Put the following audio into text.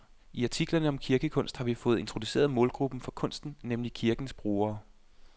I artiklerne om kirkekunst har vi fået introduceret målgruppen for kunsten, nemlig kirkens brugere.